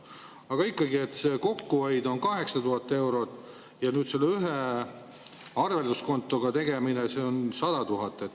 Aga ikkagi, see kokkuhoid on 8000 eurot ja sellele ühele arvelduskontole on 100 000.